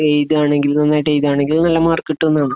എയ്താണെങ്കിൽ നന്നായിട്ട് എയ്താണെങ്കിൽ നല്ല മാർക്കിട്ട് തന്ന് കാണും